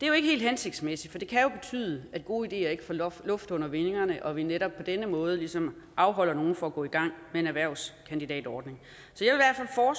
helt hensigtsmæssigt for det kan jo betyde at gode ideer ikke får luft luft under vingerne og at vi netop på denne måde ligesom afholder nogle fra at gå i gang med en erhvervskandidatordning